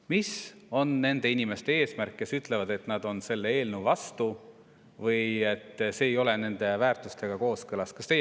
Mis on eesmärk nendel inimestel, kes ütlevad, et nad on selle eelnõu vastu või et see ei ole nende väärtustega kooskõlas?